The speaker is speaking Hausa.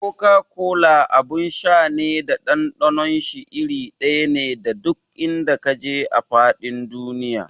Koka-kola abin sha ne da ɗanɗanon shi iri ɗaya ne duk in da ka je a faɗin duniya.